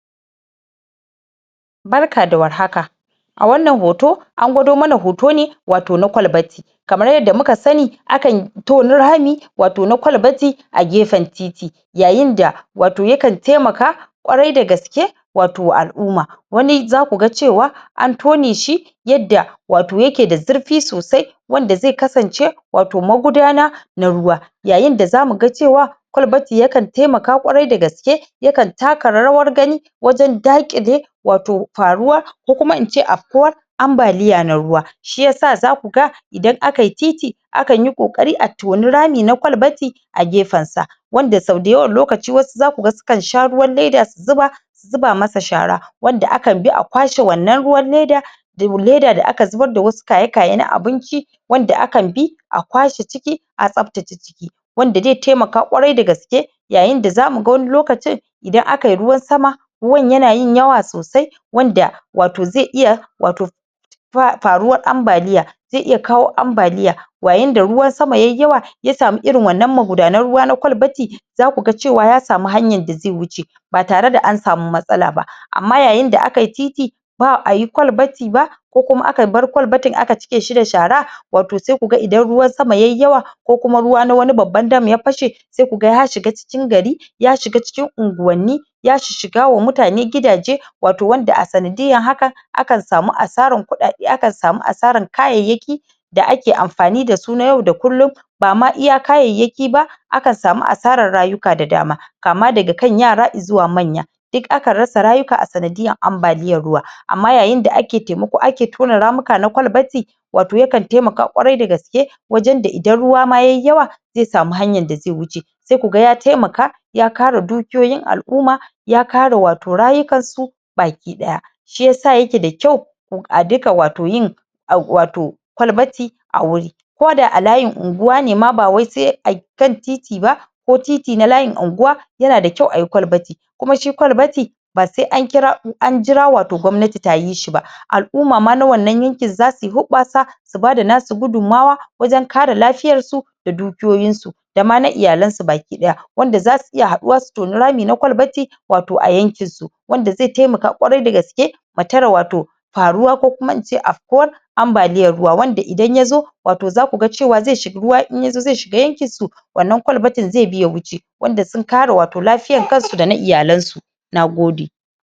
barka da war haka a wannan hoto an gwado mana hoto ne wato na ƙwalbati kamar yadda muka sani akan toni rami wato na ƙwalbati a gefen titi yayin da wato yakan taimaka ƙwarai dagaske wato al'umma wani zakuga cewa an tone shi yadda wato yake da zurfi sosai wanda zai kasance wato magudana na ruwa yayin da zamu ga cewa ƙwalbati yakan taimaka ƙwarai dagaske yakan taka rawar gani wajen ɗaƙile wato faruwa ko kuma ince ambalya na ruwa shiyasa zaku ga idan akayi titi akanyi kokari a toni rami na ƙwalbati a gefen sa wanda sau dayawan lokaci wasu zakuga sukan sha ruwan leda su zuba su zuba masa shara wanda akan bi a ƙwashe wannan ruwan leda da leda wanda aka zuba wasu kayakyen abinci wanda akan bi a kwashe ciki a tsaftace ciki wanda zai taimaka ƙwarai dagaske yayin da zamu ga wani lokacin idan akayi ruwan sama ruwan yana yin yawa sosai wanda wato zai iya wato faruwar ambaliya zai iya kawo ambaliya yayin da ruwan sama yayi yawa ya samu irin wa'ennan magudanar ruwa na ƙwalbati zaku ga cewa ya samu hanyan da zai wuce ba tare da an samu matsala ba amma yayin da akayi titi ba'ayi ƙwalbati ba ko kuma aka bar ƙwalbati aka cike shi da shara wato sai ku ga idan ruwan sama yayi yawa ko kuma ruwa na wani babban dam ya fashe sai ku ga ya shiga cikin gari ya shiga cikin unguwanni ya shga wa mutane gidaje wato wanda a sanadiyan haka akan samu asaran kuɗaɗe akan samu asaran kayyayki da ake amfanin da su na yau da kullum bama iya kayayyaki ba akan samu asaran rayuka da dama kama daga kan yara zuwa manya duk akan rasa rayuka a sanadiyan ambaliyan ruwa amma yayin da ake taimako ana tona ramuka na ƙwalbati wato yakan taimaka ƙwari dagaske wajen da idan ma ruwa yayi yawa zai samu hanyan da zai wuce sai kuga ya taimaka ya kare dukiyoyin al'umma ya kare wato rayukan su baki daya shiyasa yake da kyau a duka wato yin wato ƙwalbati ko da a layin unguwa ne ma ba wai sai a kan titi ba ko titi na layin unguwa yana da kyau ayi ƙwalbati kuma shi ƙwalbati ba sai an jira wato gwamnati tayi shi ba al'umma na wannan yankin zasu yi hubbasa su bada nasu gudumawa su kare lafiyan su da dukiyoyin su da ma na iyalen sa ma baki daya wanda zasu iya haduwa su toni rami na ƙwalbati wato a yankin su wanda zai tamaka ƙwarai dagaske mu tare wato faruwa ko kuma ince ambaliyan ruwa wanda idan yazo wato zaku ga cewa ruwa in yazo zai shiga yankin su wannan ƙwalbatin zai bi ya wuce wanda sun kare wato lafiyan su da na iyalen su nagode